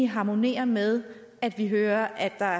harmonerer med at vi hører at der